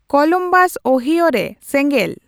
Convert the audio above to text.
Columbus ᱳᱦᱤᱭᱚᱨᱮ ᱥᱮᱸᱜᱮᱞ